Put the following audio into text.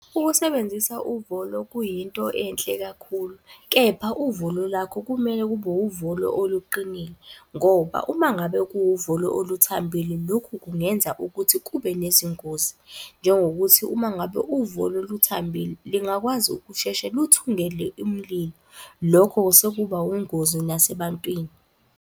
Ukusebenzisa uvolo kuyinto enhle kakhulu, kepha uvolo lakho kumele kube uvolo oluqinile. Ngoba uma ngabe kuwuvolo oluthambile, lokhu kungenza ukuthi kube nezingozi. Njengokuthi uma ngabe uvolo luthambile lingakwazi ukusheshe luthungele umlilo. Lokho sekuba ungozi nasebantwini.